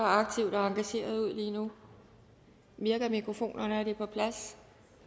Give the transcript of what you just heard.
engageret ud nu virker mikrofonerne og er det på plads